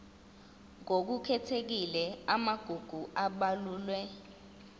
ngokukhethekile amagugu abalulwe